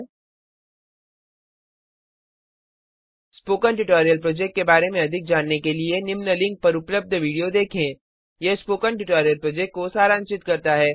000923 000922 spoken tutorial project के बारे में अधिक जानने के लिए 1 निम्न लिंक पर उपलब्ध वीडियो देखें यह स्पोकन ट्यूटोरियल प्रोजेक्ट को सारांशित करता है